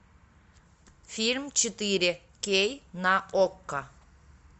фильм четыре кей на окко